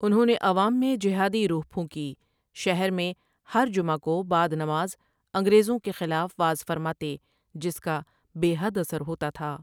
انھوں نے عوام میں جہادی روح پھونکی شہر میں ہر جمعہ کو بعد نماز انگریزوں کے خلاف وعظ فرماتے جس کا بے حد اثر ہوتا تھا۔